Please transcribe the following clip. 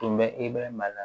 Tun bɛ i bɛ maana